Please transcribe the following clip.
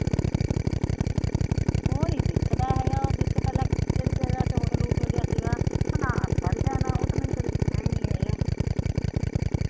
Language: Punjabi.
ਉਹ ਨੀ ਦਿਖਦਾ ਹੇਗਾ ਜਿਥੇ ਪਹਿਲਾ ਕੇਹੜੀ ਜਗਾ ਤੇ ਹੋਟਲ ਹੁਟਲ ਜਾ ਸੀਗਾ ਉਹ ਤਾ ਮੈਨੂੰ ਕਦੇ ਦਿਖਿਆ ਹੀ ਨੀ ਹੇਗਾ